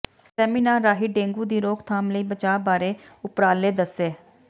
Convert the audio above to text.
seminar ਰਾਹੀਂ dengue ਦੀ ਰੋਕਥਾਮ ਲਈ ਬਚਾਅ ਬਾਰੇ ਉਪਰਾਲੇ ਦੱਸੇ